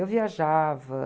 Eu viajava.